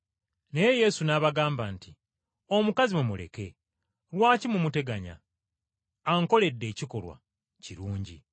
Naye Yesu n’abagamba nti, “Omukazi mumuleke. Lwaki mumuteganya? Ankoledde ekikolwa kirungi.